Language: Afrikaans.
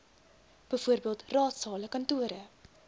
bv raadsale kantore